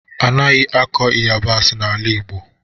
A naghị akọ ịyabasị n'ala Igbo.